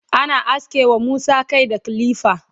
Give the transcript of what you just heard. ana aske wa Musa Kai da kilifa